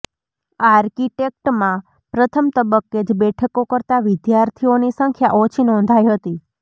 આર્કિટેક્ટમાં પ્રથમ તબક્કે જ બેઠકો કરતા વિદ્યાર્થીઓની સંખ્યા ઓછી નોંધાઇ હતી